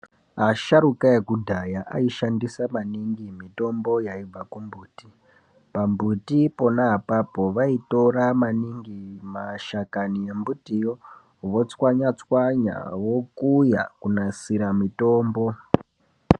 Asharukwa ekudhaya aishandisa maningi mitombo yaibva kumbuti pambuti pona apapo vaitora maningi mashakani embutiyo votswanya tswanya vokuya kunasira mitombo.